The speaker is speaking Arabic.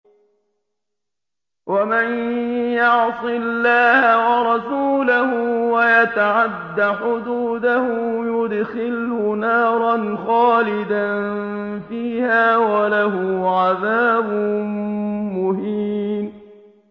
وَمَن يَعْصِ اللَّهَ وَرَسُولَهُ وَيَتَعَدَّ حُدُودَهُ يُدْخِلْهُ نَارًا خَالِدًا فِيهَا وَلَهُ عَذَابٌ مُّهِينٌ